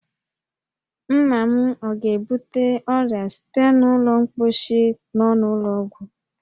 Nna m ọ ga-ebute ọrịa site n'ụlọ mkposhi nọ n'ụlọ ọgwụ?